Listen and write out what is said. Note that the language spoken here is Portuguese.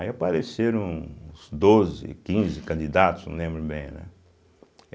Aí apareceram uns doze, quinze candidatos, não lembro bem, né?